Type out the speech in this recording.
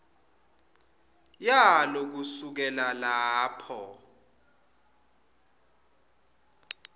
yalo kusukela lapho